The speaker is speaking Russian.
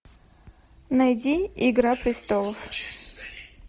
найди игра престолов